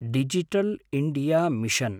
digital India mission